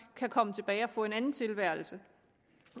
kan komme tilbage og få en anden tilværelse